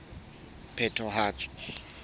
phethahatso